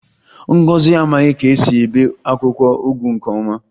Ngozi amaghi ka esi ebe akwukwo ugu nke oma